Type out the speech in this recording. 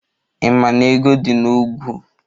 Ị maa n'ego di n'ọgwu?